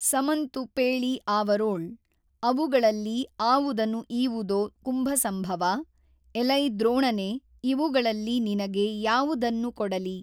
ಸಮಂತು ಪೇೞ ಆವರೊಳ್ ಅವುಗಳಲ್ಲಿ ಆವುದನು ಈವುದೊ ಕುಂಭಸಂಭವಾ ಎಲೈ ದ್ರೋಣನೆ ಇವುಗಳಲ್ಲಿ ನಿನಗೆ ಯಾವುದನ್ನು ಕೊಡಲಿ?